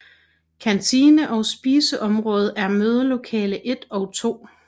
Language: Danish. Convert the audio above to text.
Kantine og spise område er mødelokale 1 og 2